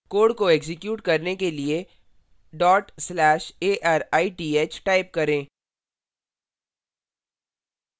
code को execute करने के लिए/arithटाइप करें